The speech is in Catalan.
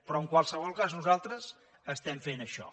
però en qualsevol cas nosaltres fem això